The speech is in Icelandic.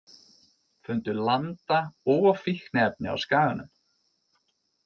Fundu landa og fíkniefni á Skaganum